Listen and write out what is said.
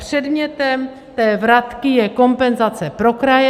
Předmětem té vratky je kompenzace pro kraje.